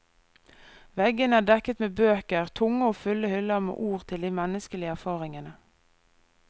Veggene er dekket med bøker, tunge og fulle hyller med ord til de menneskelige erfaringene.